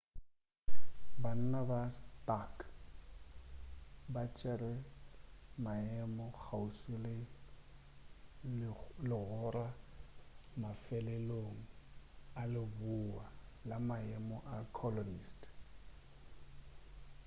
banna ba stark ba tšere maemo kgauswi le legora mafeleleong a leboa la maemo a colonist